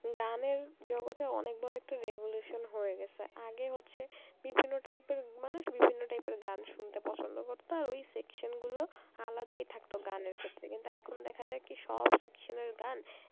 গানের জগতে অনেক বড় একটা revolution হয়ে গেছে আগে হচ্ছে বিভিন্ন type এর মানুষ বিভিন্ন type এর গান শুনতে পছন্দ করত আর ওই section গুলো আলাদাই থাকতো গানের ক্ষেত্রে কিন্তু এখন দেখা যায় কি সব section এর গান